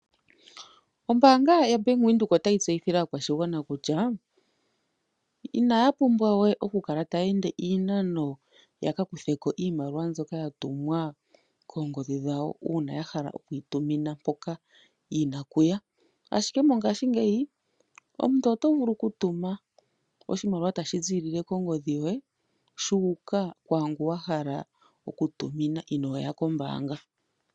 Ombaanga yoBank Windhoek otayi tseyithile aakwashigwana kutya inaya pumbwa we okukala taye ende iinano yakakutheko iimaliwa mbyoka yatumwa koongodhi dhawo uuna yahala okuyi tumina mpoka yina okuya, ashike mongashingeyi omuntu otovulu okutuma oshimaliwa tashi ziilile kongodhi yoye shuuka kwaangu wahala okutumina inooya kombaanga.